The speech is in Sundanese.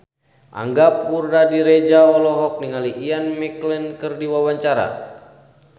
Angga Puradiredja olohok ningali Ian McKellen keur diwawancara